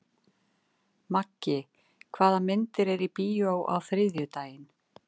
Maggi, hvaða myndir eru í bíó á þriðjudaginn?